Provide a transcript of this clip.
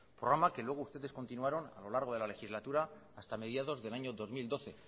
programa que luego ustedes continuaron a lo largo de la legislatura hasta mediados del año dos mil doce